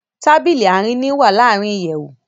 Tábìlì Àárín ni wá larin ìyèwù